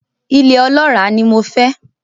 Ilẹ̀ ọlọ́ràá ni mo fẹ́.